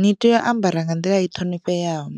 Ni tea u ambara nga nḓila i ṱhonifheaho